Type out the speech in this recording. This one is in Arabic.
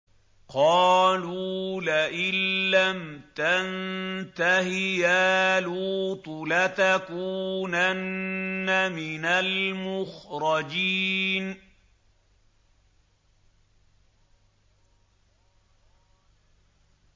قَالُوا لَئِن لَّمْ تَنتَهِ يَا لُوطُ لَتَكُونَنَّ مِنَ الْمُخْرَجِينَ